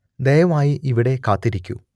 ദയവായി ഇവിടെ കാത്തിരിക്കൂ